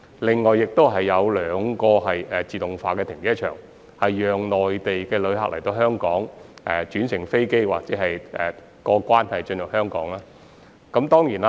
另外，亦會設有兩個自動化停車場，供內地旅客到港轉乘飛機或過關進入香港時使用。